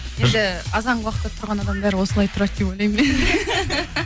енді азанғы уақытта тұрған адамдар осылай тұрады деп ойлаймын